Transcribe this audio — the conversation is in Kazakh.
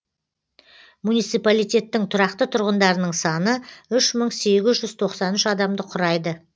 муниципалитеттің тұрақты тұрғындарының саны үш мың сегіз жүз тоқсан үш адамды құрайды